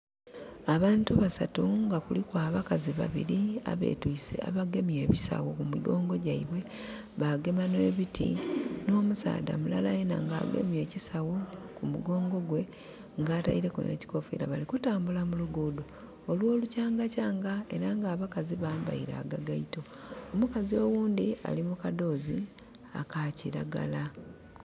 Abantu basatu nga kuliku abakazi babili abetiise, abagemye ebisawo ku migongo gyaibwe, bagema n'ebiti. N'omusaadha mulala yena nga agemye ekisawo ku mugongo gwe, nga ataileku n'ekikofiira bali kutambula mu luguudo olw'olukyangakyanga, era nga abakazi bambaile agagaito. Omukazi oghundi ali kadhoozi aka kiragala.